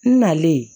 N nalen